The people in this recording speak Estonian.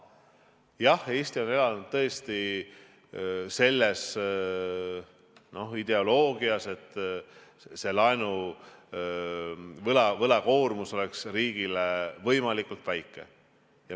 Jah, Eesti on elanud tõesti selle ideoloogiaga, et võlakoormus oleks riigil võimalikult väike.